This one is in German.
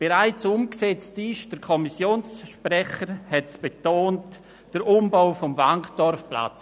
Bereits umgesetzt wurde – der Kommissionssprecher hat es betont – der Umbau des Wankdorfplatzes.